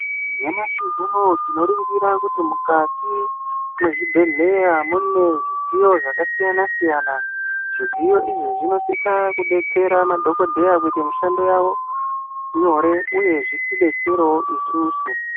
Nyamashi unowu tinoringira kuti mukati mwezvibhehlera mune zvidziyo zvakasiyana-siyana. Zvidziyo izvi zvinosisa kudetsera madhokodheya kuti mishando yavo nyore uye kuti zvitidetserewo isusu.